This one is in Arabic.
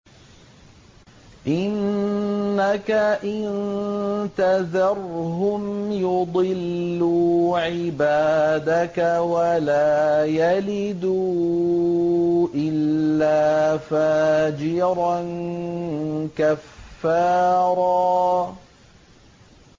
إِنَّكَ إِن تَذَرْهُمْ يُضِلُّوا عِبَادَكَ وَلَا يَلِدُوا إِلَّا فَاجِرًا كَفَّارًا